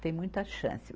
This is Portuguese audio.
Tem muita chance.